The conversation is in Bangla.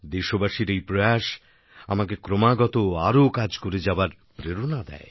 দেশবাসীর এই প্রয়াস আমাকে ক্রমাগত কাজ করে যাওয়ার প্রেরণা দেয়